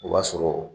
O b'a sɔrɔ